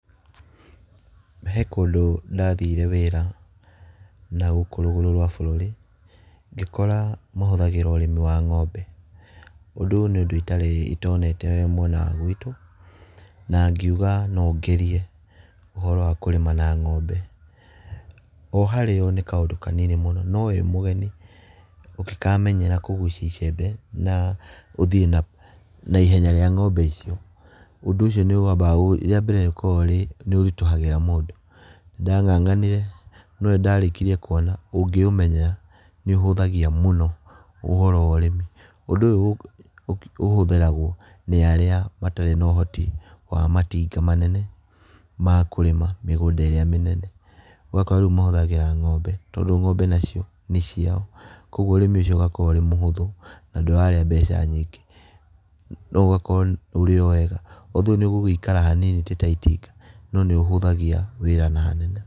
He kũndũ ndathire wĩra nagũkũ rũgũrũ rwa bũrũri, ngĩkora mahũthagĩra ũrĩmi wa ng'ombe, ũndũ ũyũ nĩ ũndũ itarĩ itonete mwena wa gwitũ na ngiuga no ngerie ũhoro wa kũrĩma na ng'ombe, o harĩ o nĩ kaũndũ kanini mũno no wĩ mũgeni ũngĩkamenyera kũgucia icembe na ũthiĩ na ihenya rĩa ng'ombe ico, ũndũ ũcio nĩwambaga gũ rĩambere ũkoragwo ũrĩ nĩũritũhagĩra mũndũ, nĩndang'ang'anire no nĩndarĩkirie kũona ũngĩũmenyera nĩũhũthagia mũno ũhoro wa ũrĩmi, ũndũ ũyũ ũhũthĩragwo nĩ arĩa matarĩ na ũhoti wa matinga manene ma kũrĩma mĩgũnda ĩrĩa mĩnene, ũgakora rĩu mahũthagĩra ng'ombe tondũ ng'ombe nacio nĩciao koguo ũrĩmi ũcio ũgakorwo ũrĩ mũhũthũ na ndũrarĩa mbeca nyingĩ, nogakorwo ũrĩ o wega although nĩũgũgikara hanini ti ta itinga, no nĩũhũthagia wĩra na hanene.